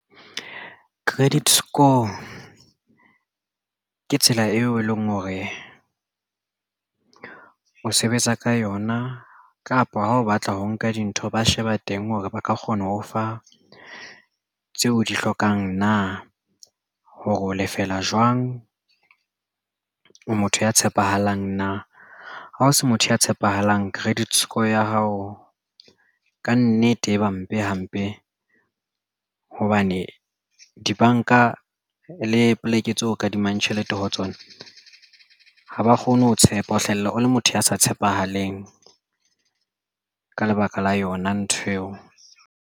Credit score ke tsela eo e leng hore o sebetsa ka yona kapa ha o batla ho nka dintho ba sheba teng hore ba ka kgona ho fa tseo o di hlokang na hore o lefela jwang o motho ya tshepahalang na ha o se motho ya tshepahalang credit score ya hao kannete e ba mpe hampe hobane dibanka le poleke tseo kadimang tjhelete ho tsona ha ba kgone ho tshepa ho hlahella o le motho ya sa tshepahaleng ka lebaka la yona nthweo.